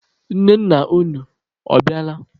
Nne nna unu, ọ bịala?